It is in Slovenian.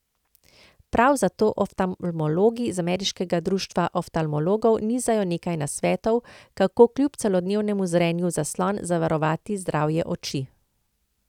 Prav zato oftalmologi z ameriškega društva oftalmologov nizajo nekaj nasvetov, kako kljub celodnevnemu zrenju v zaslon zavarovati zdravje oči.